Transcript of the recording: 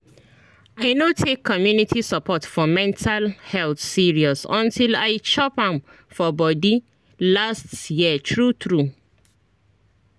i no take community support for mental health serious until i chop am for body last year true true